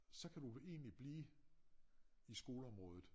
Så kan du egentlig blive i skoleområdet